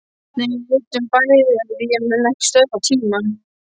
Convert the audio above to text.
Nei, við vitum bæði að ég mun ekki stöðva tímann.